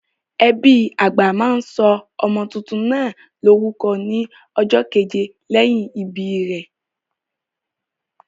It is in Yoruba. Ẹbí àgbà máa sọ ọmọ tuntun náà lórúkọ ní ọjọ́ keje lẹ́yìn ìbí rẹ̀.